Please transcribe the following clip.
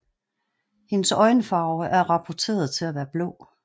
Hendes øjenfarve er rapporterede til at være blå